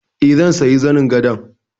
Eh, zan siya zanin gadon.